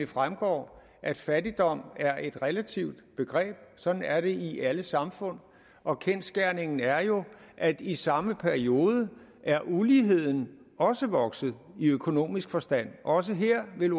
fremgår at fattigdom er et relativt begreb sådan er det i alle samfund og kendsgerningen er jo at i samme periode er uligheden også vokset i økonomisk forstand også her vil